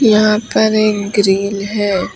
यहां पर एक ग्रिल है।